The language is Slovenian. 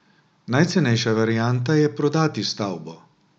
Najcenejša varianta je prodati stavbo.